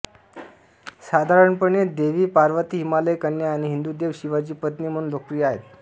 साधारणपणे देवी पार्वती हिमालय कन्या आणि हिंदू देव शिवाची पत्नी म्हणून लोकप्रिय आहेत